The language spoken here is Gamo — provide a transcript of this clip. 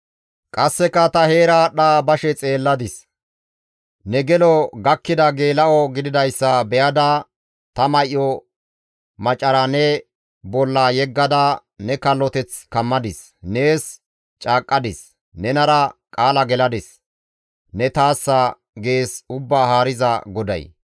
«Qasseka ta heera aadhdha bashe xeelladis; ne gelo gakkida geela7o gididayssa be7ada ta may7o macara ne bolla yeggada ne kalloteth kammadis; nees caaqqadis; nenara qaala geladis; ne taassa» gees Ubbaa Haariza GODAY.